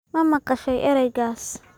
Ma maqashay ereygaas?